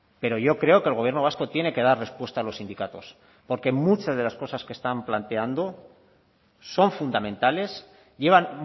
pero yo creo que el gobierno vasco tiene que dar respuesta a los sindicatos porque muchas de las cosas que están planteando son fundamentales llevan